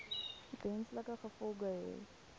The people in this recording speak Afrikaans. wesenlike gevolge hê